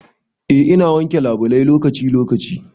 Eh ina wanke labulai lokaci lokaci.